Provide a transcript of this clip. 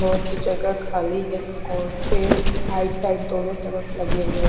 बहोत से जगह खाली हैं और पेड राइट साइड दोनो तरफ लगे हुए--